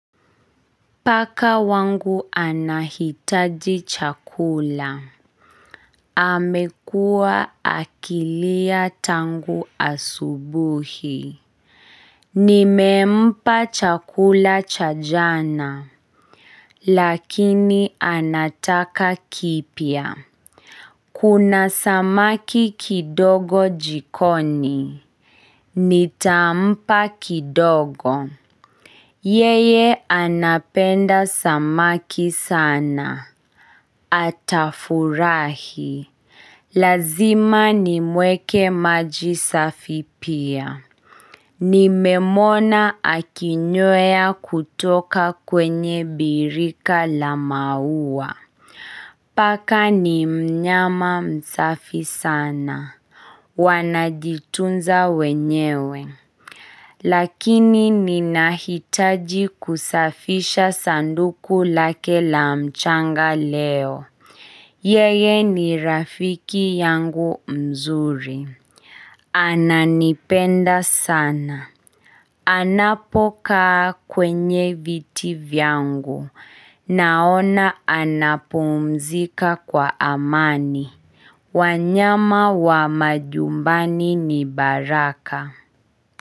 Paka wangu anahitaji chakula. Amekuwa akilia tangu asubuhi. Nimempa chakula cha jana. Lakini anataka kipya. Kuna samaki kidogo jikoni. Nitampa kidogo. Yeye anapenda samaki sana. Atafurahi, lazima nimuekee maji safi pia. Nimemuona akinywea kutoka kwenye birika la maua. Paka ni mnyama msafi sana. Wanajitunza wenyewe. Lakini ninahitaji kusafisha sanduku lake la mchanga leo. Yeye ni rafiki yangu mzuri. Ananipenda sana. Anapo kaa kwenye viti vyangu. Naona anapumzika kwa amani. Wanyama wa majumbani ni baraka.